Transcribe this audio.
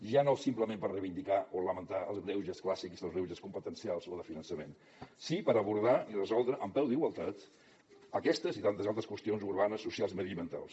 ja no simplement per reivindicar o lamentar els greuges clàssics o els greuges competencials o de finançament sí per abordar i resoldre en peu d’igualtat aquestes i tantes altres qüestions urbanes socials mediambientals